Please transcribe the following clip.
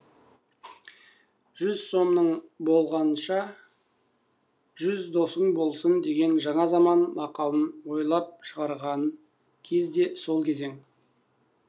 жүз сомың болғанша жүз досың болсын деген жаңа заман мақалын ойлап шығарған кез де сол кезең